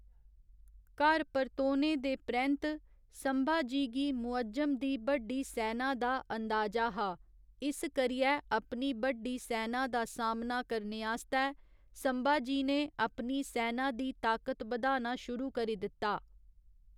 घर परतोने दे परैंत्त संभाजी गी मुअज्जम दी बड्डी सैना दा अंदाजा हा, इस करियै अपनी बड्डी सैना दा सामना करने आस्तै संभाजी ने अपनी सैना दी ताकत बधाना शुरू करी दित्ता।